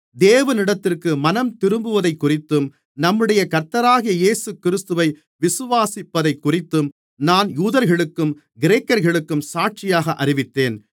தேவனிடத்திற்கு மனந்திரும்புவதைக்குறித்தும் நம்முடைய கர்த்தராகிய இயேசுகிறிஸ்துவை விசுவாசிப்பதைக்குறித்தும் நான் யூதர்களுக்கும் கிரேக்கர்களுக்கும் சாட்சியாக அறிவித்தேன்